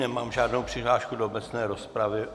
Nemám žádnou přihlášku do obecné rozpravy.